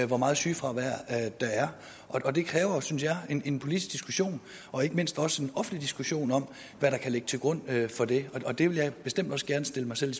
hvor meget sygefravær der er og det kræver synes jeg en politisk diskussion og ikke mindst også en offentlig diskussion om hvad der kan ligge til grund for det og det vil jeg bestemt gerne stille mig selv